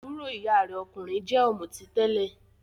Àbúrò ìyá rẹ̀ okunrin jẹ́ ọ̀mùtí tẹ́lẹ̀.